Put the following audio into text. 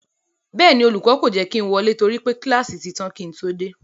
Bẹ́ẹ̀ ni, olùkọ́ kò jẹ́ kí ń wọlé torí pé kíláàsì ti tán kí ń todé,